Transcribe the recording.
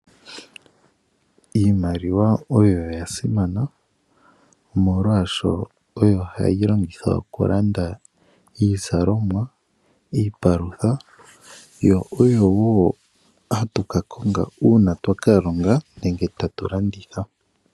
Iimaliwa oyasimana oshoka oyo hayi longithwa okulanda iizalomwa, iipalutha yo oyo woo aantu haya kakonga uuna taya kongo iilonga nenge taya landitha.